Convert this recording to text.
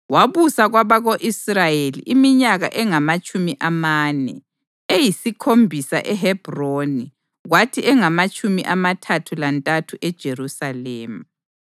Wabusa kwabako-Israyeli iminyaka engamatshumi amane, eyisikhombisa eHebhroni kwathi engamatshumi amathathu lantathu eJerusalema.